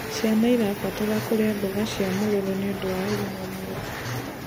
Ciana irabatarania kurĩa mboga cia mũrũrũ nĩũndũ wa ũgima mwega